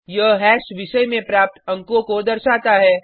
यह हैश विषय में प्राप्त अंकों को दर्शाता है